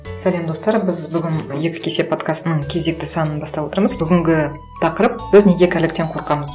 сәлем достар біз бүгін екі кесе подкастының кезекті санын бастап отырмыз бүгінгі тақырып біз неге кәріліктен қорқамыз